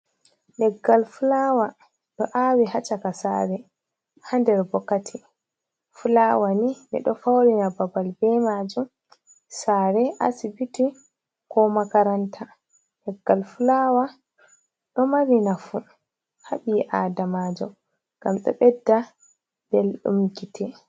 Leggal fulawa ɗo awi ha caka sare ha nder bokati. Fulawa ni ɓeɗo faurina babal be majum, sare, asibiti, ko makaranta. Leggal fulawa ɗo mari nafu ha ɓi Adamajo ngam ɗo ɓedda belɗum gite.